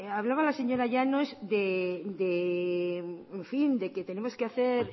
hablaba la señora llanos de que tenemos que hacer